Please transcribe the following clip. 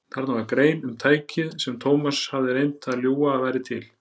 Þarna var grein um tækið sem Thomas hafði reynt að ljúga að væri til.